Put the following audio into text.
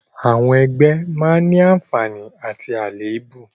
Àwọn ẹgbẹ́ a máa ní àǹfààní àti àléébù